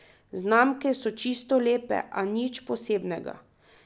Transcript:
Znamke so čisto lepe, a nič posebnega.